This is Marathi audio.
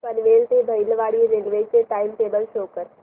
पनवेल ते वैभववाडी रेल्वे चे टाइम टेबल शो करा